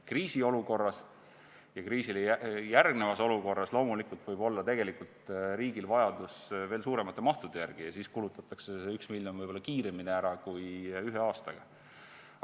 Kriisiolukorras ja kriisile järgnevas olukorras võib olla riigil vajadus veel suuremate mahtude järele ja siis kulutatakse see 1 miljon võib-olla kiiremini ära kui ühe aastaga.